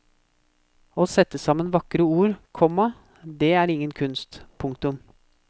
Å sette sammen vakre ord, komma det er ingen kunst. punktum